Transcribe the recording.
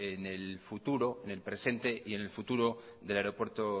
en el presente y en el futuro del aeropuerto